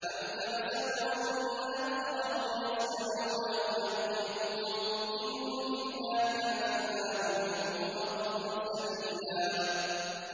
أَمْ تَحْسَبُ أَنَّ أَكْثَرَهُمْ يَسْمَعُونَ أَوْ يَعْقِلُونَ ۚ إِنْ هُمْ إِلَّا كَالْأَنْعَامِ ۖ بَلْ هُمْ أَضَلُّ سَبِيلًا